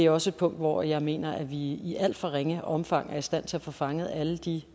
også et punkt hvor jeg mener at vi i alt for ringe omfang er i stand til at få fanget alle de